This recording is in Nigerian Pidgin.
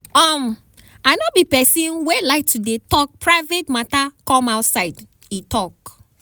um "i no be pesin wey like to dey tok private mata come outside" e tok.